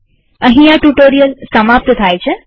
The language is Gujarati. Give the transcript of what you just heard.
અહીં આ ટ્યુ્ટોરીઅલ સમાપ્ત થાય છે